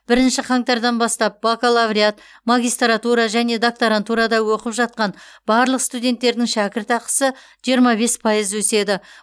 бірінші қаңтардан бастап бакалавриат магистратура және докторантурада оқып жатқан барлық студенттердің шәкіртақысы жиырма бес пайыз өседі